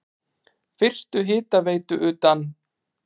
Fyrstu hitaveitu utan